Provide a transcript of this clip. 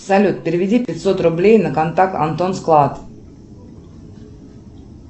салют переведи пятьсот рублей на контакт антон склад